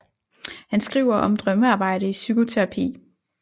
Han skriver om Drømmearbejde i psykoterapi